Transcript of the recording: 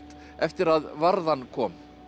eftir að varðan kom